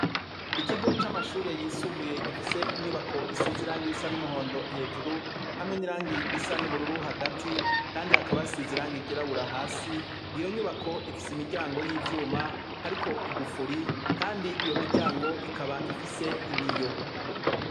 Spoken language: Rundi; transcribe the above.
Ikigo c'amashuri yisumbuye gifise inyubako isize irangi risa n'umuhondo hejuru hamwe n'irangi risa n'ubururu hagati kandi hakaba hasize irangi ryirabura. Hasi iyo nyubako ifise imiryango y'ivyuma hariko igufuri kandi iyo miryango ikaba ifise ibiyo.